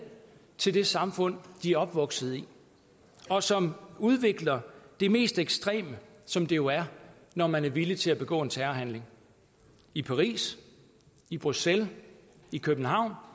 til det samfund de er opvokset i og som udvikler det mest ekstreme som det jo er når man er villig til at begå en terrorhandling i paris i bruxelles i københavn